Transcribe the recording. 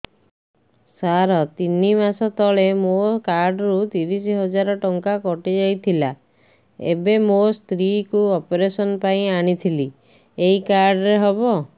ସାର ତିନି ମାସ ତଳେ ମୋ କାର୍ଡ ରୁ ତିରିଶ ହଜାର ଟଙ୍କା କଟିଯାଇଥିଲା ଏବେ ମୋ ସ୍ତ୍ରୀ କୁ ଅପେରସନ ପାଇଁ ଆଣିଥିଲି ଏଇ କାର୍ଡ ରେ ହବ